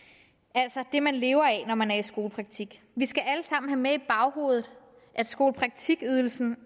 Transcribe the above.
altså det man lever af når man er i skolepraktik vi skal alle sammen have i baghovedet at skolepraktikydelsen